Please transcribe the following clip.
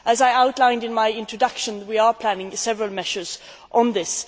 As I outlined in my introduction, we are planning several measures on this.